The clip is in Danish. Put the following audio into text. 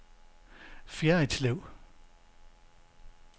Fjerritslev